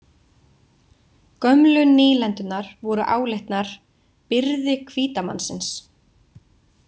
Gömlu nýlendurnar voru álitnar „byrði hvíta mannsins“